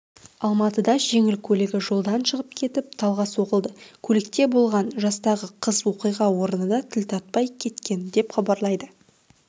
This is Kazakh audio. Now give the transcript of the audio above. алматыда жеңіл көлігі жолдан шығып кетіп талға соғылды көлікте болған жастағы қыз оқиға орнында тіл тартпай кеткен деп хабарлайды